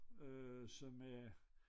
Øh som øh